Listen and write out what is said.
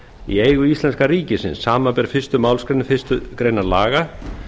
í eigu íslenska ríkisins samanber fyrstu málsgrein fyrstu grein laga